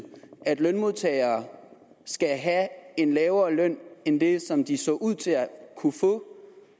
at lønmodtagere skal have en lavere løn end den som de så ud til at kunne få